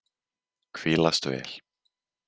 Hvílast vel.